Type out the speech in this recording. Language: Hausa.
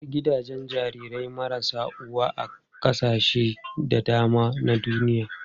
Akwai gidajen jarirai marasa uwa a kasashe da dama na duniya.